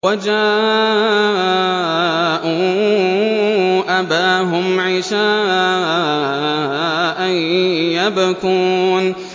وَجَاءُوا أَبَاهُمْ عِشَاءً يَبْكُونَ